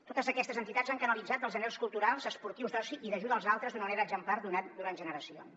totes aquestes entitats han canalitzat els anhels culturals esportius d’oci i d’ajuda als altres d’una manera exemplar durant generacions